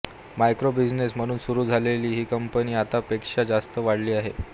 microbusiness म्हणून सुरू झालेली ही कंपनी आता पेक्षा जास्त वाढली आहे